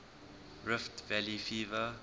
rift valley fever